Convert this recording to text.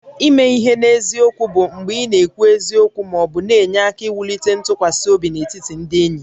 Ime ihe n'eziokwu bụ mgbe ị na-ekwu eziokwu ma ọ na-enye aka wulite ntụkwasị obi n'etiti ndị enyi